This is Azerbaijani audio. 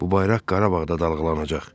Bu bayraq Qarabağda dalğalanacaq.